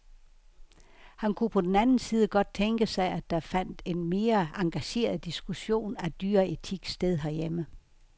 Han kunne på den anden side godt tænke sig, at der fandt en mere engageret diskussion af dyreetik sted herhjemme.